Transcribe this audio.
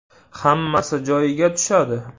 Hammasi joyiga tushadi.